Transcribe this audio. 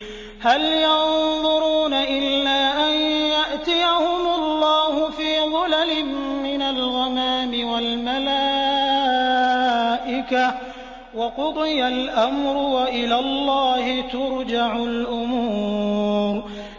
هَلْ يَنظُرُونَ إِلَّا أَن يَأْتِيَهُمُ اللَّهُ فِي ظُلَلٍ مِّنَ الْغَمَامِ وَالْمَلَائِكَةُ وَقُضِيَ الْأَمْرُ ۚ وَإِلَى اللَّهِ تُرْجَعُ الْأُمُورُ